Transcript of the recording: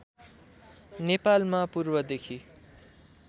नेपालमा पूर्वदेखि